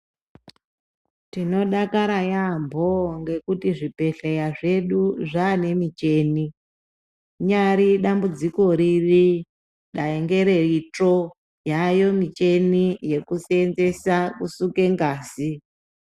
Tinodakara yaambo ngekuti zvibhedhleya zvedu zvane micheni. Rinyari dambudziko riri dai ngere itsvo yayo micheni yekusenzesa kusuke ngazi.